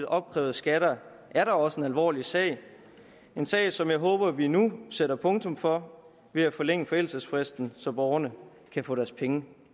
opkrævede skatter er da også en alvorlig sag en sag som jeg håber vi nu sætter punktum for ved at forlænge forældelsesfristen så borgerne kan få deres penge